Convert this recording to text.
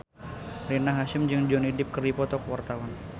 Rina Hasyim jeung Johnny Depp keur dipoto ku wartawan